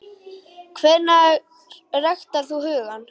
Hvernig ræktar þú hugann?